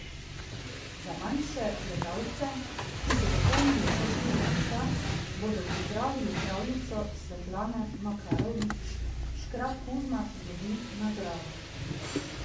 Za najmlajše gledalce, ki so dopolnili vsaj štiri leta, bodo pripravili pravljico Svetlane Makarovič Škrat Kuzma dobi nagrado.